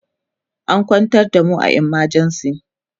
an kwantar da mu a emergency